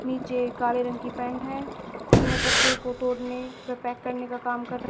नीचे काले रंग की पैंट है वह पत्थरों को तोड़ने व पैक करने का काम कर र--